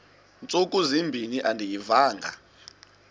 ntsuku zimbin andiyivanga